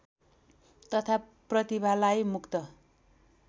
तथा प्रतिभालाई मुक्त